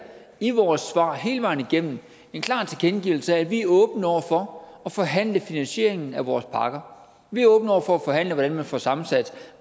i vores svar hele vejen igennem en klar tilkendegivelse af at vi er åbne over for at forhandle finansieringen af vores pakker vi er åbne over for at forhandle hvordan man får sammensat